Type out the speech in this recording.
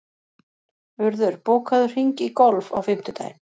Urður, bókaðu hring í golf á fimmtudaginn.